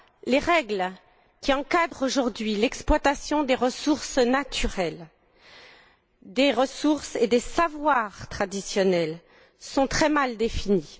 Les règles qui encadrent aujourd'hui l'exploitation des ressources naturelles, des ressources et des savoirs traditionnels sont très mal définies.